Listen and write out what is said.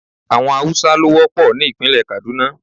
Àwọn Haúsá ló wọ́pọ̀ ní ìpínlẹ̀ Kàdúná.